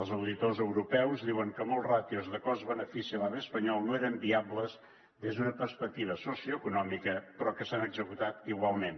els auditors europeus diuen que moltes ràtios de cost benefici a l’ave espanyol no eren viables des d’una perspectiva socioeconòmica però que s’han executat igualment